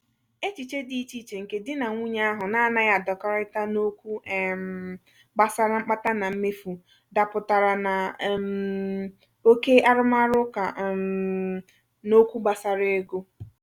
echiche dị ichè iche nke di na nwunye ahụ na-anghi adakorita n'okwu um gbasara mkpata na mmefu dapụtara na um oke arumaruuka um n'okwu gbasara ego.